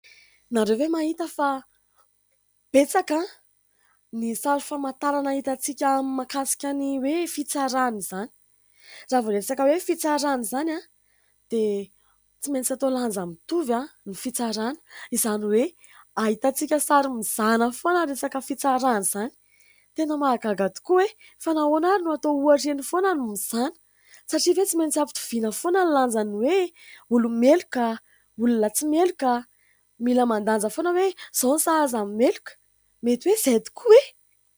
Ianareo ve mahita fa betsaka ny sary famantarana ahitantsika amin'ny mahakasika ny hoe fitsarana izany ? Raha vao resaka hoe fitsarana izany dia tsy maintsy atao lanja mitovy ny fitsarana ; izany hoe ahitantsika sary mizana foana resaka fitsarana izany. Tena mahagaga tokoa e ! Fa nahoana ary no hatao ohatra eny foana ny mizana ? Satria ve tsy maintsy am-pitoviana foana no lanjany hoe olo-meloka olona tsy meloka. Mila mandanja foana hoe izao ny sahaza ny meloka mety hoe izay tokoa e !